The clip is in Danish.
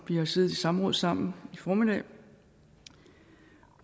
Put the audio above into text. har siddet i samråd sammen i formiddags